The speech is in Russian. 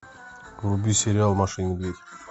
вруби сериал маша и медведь